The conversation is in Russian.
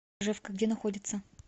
ржевка где находится